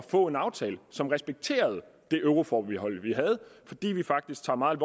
få en aftale som respekterede det euroforbehold vi har fordi vi faktisk tager meget